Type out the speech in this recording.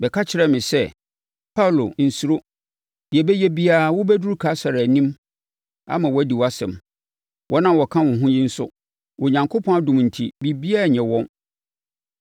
bɛka kyerɛɛ me sɛ, ‘Paulo, nsuro! Deɛ ɛbɛyɛ biara wobɛduru Kaesare anim ama wadi wʼasɛm. Wɔn a wɔka wo ho yi nso, Onyankopɔn adom enti, biribiara renyɛ wɔn.’